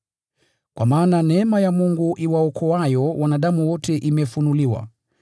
Kwa maana neema ya Mungu ambayo inawaokoa wanadamu wote imefunuliwa.